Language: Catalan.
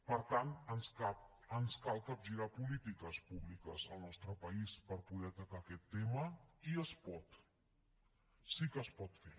per tant ens cal capgirar polítiques públiques al nostre país per poder atacar aquest tema i es pot sí que es pot fer